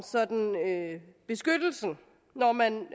beskyttelsen når man